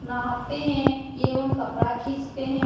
नहाते है। एवम कपड़ा खिचाते है।